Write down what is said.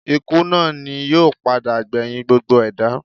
Ikú náà ni yóò padà gbẹ̀yìn gbogbo ẹ̀dá